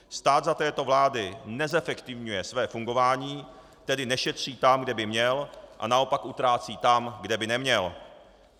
Stát za této vlády nezefektivňuje své fungování, tedy nešetří tam, kde by měl, a naopak utrácí tam, kde by neměl.